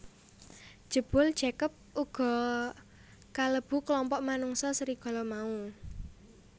Jebul Jacob uga kalebu klompok manungsa serigala mau